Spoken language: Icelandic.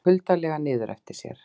Leit kuldalega niður eftir sér.